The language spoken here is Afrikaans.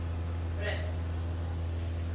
brits